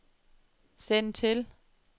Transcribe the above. send til